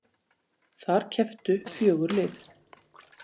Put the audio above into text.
Þar kepptu fjögur lið